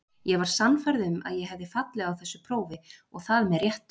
Ég var sannfærð um að ég hefði fallið á þessu prófi og það með réttu.